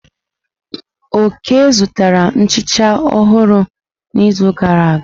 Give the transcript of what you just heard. Oke zụtara nhicha ọhụrụ n'izu gara aga?